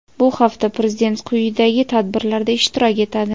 Bu hafta Prezident quyidagi tadbirlarda ishtirok etadi:.